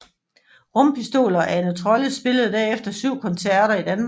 Rumpistol og Ane Trolle spillede derefter 7 koncerter i Danmark